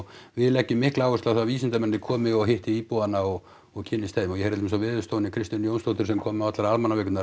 við leggjum mikla áherslu á það að vísindamennirnir komi og hitti íbúana og og kynnist þeim og ég heyrði til dæmis á Veðurstofunni Kristínu Jónsdóttur sem kom á allar